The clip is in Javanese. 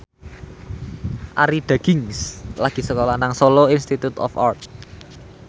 Arie Daginks lagi sekolah nang Solo Institute of Art